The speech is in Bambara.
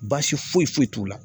Baasi foyi foyi t'u la.